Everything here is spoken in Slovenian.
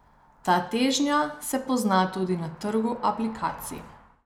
Ta težnja se pozna tudi na trgu aplikacij.